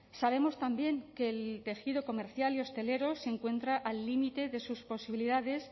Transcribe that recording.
sabemos también que el tejido comercial y hostelero se encuentra al límite de sus posibilidades